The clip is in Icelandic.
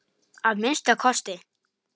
Að minnsta kosti.